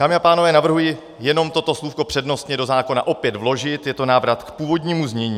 Dámy a pánové, navrhuji jenom toto slůvko přednostně do zákona opět vložit, je to návrat k původnímu znění.